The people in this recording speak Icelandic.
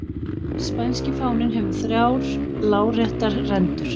spænski fáninn hefur þrjár láréttar rendur